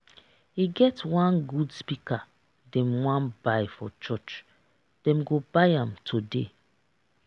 e get one good speaker dem wan buy for church dem go buy am today